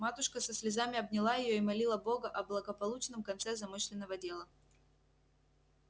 матушка со слезами обняла её и молила бога о благополучном конце замышленного дела